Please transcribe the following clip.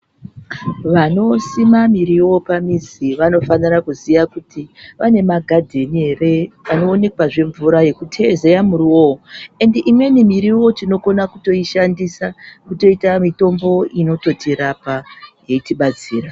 Vanosima miriwo pamizi vanofanira kuziya kuti vane magadheni ere anoonekwazve mvura yekuteezeya muriwo uwowo endi imweni miriwo tinokona kutoishandisa kutoita mitombo inototirapa yeitibatsira.